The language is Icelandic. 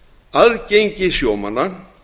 aðgengi sjómanna að